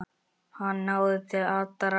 Hann náði til allra.